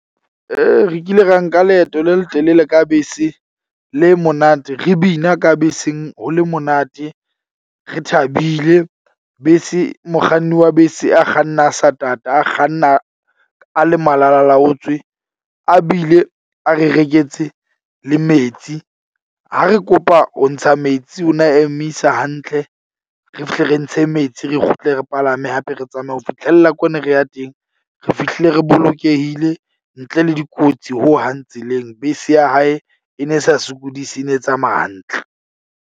Re kile ra nka leeto le letelele ka bese le monate. Re bina ka beseng ho le monate. Re thabile bese, mokganni wa bese a kganna a sa tata, a kganna a le malalalaotswe, a bile a re reketse le metsi. Ha re kopa ho ntsha metsi, o na emisa hantle. Re fihle re ntshe metsi, re kgutle re palame hape re tsamaye ho fitlhella ko ne re ya teng. Re fihlile re bolokehile ntle le dikotsi ho hang tseleng. Bese ya hae e ne sa sokodise e ne e tsamaya hantle.